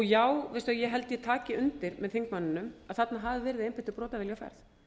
já ég held ég taki undir með þingmanninum að þarna hafi verið einbeittur brotavilji á ferð